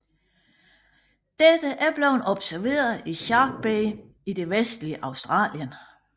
Dette er blevet observeret i Shark Bay i det vestligste Australien